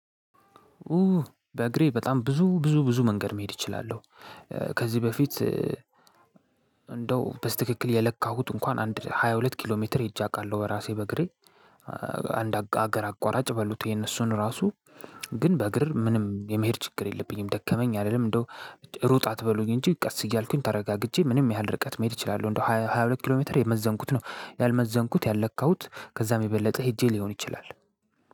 ኡ በእግሬ በጣም ብዙ ብዙ ብዙ መንገድ መሄድ እችላለው። ከዚህ በፊት እንደው በስተክል የለካሁት እንኳን አንድ ሃያ ሁለት ኪሎ ሜትር ሄጄ አውቃለው። በራሴ በእግሬ። አንድ አገር አቋራጭ በሉት ይሄን እሱን ራሱ ግን በእግር ምንም የመሄድ ችግር የለብኝም ደከመኝ አልልም። እንደውም ሩጥ አትበሉኝ እንጂ ቀስ እያልኩኝ ተረጋግጄ ምንም ያህል ርቀት መሄድ እችላለው እንደ ሃያሁለት ኪሎ ሜትር የመዘንኩት ነው። ያልመዘንኩት ያልለካሁት ከዛ የበለጠ ህጄ ሊሆን ይችላል።